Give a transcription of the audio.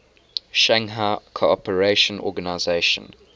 shanghai cooperation organization